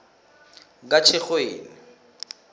katjhirhweni